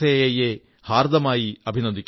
E യെ ഹാർദമായി അഭിനന്ദിക്കുന്നു